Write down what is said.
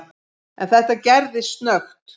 En þetta gerðist snöggt.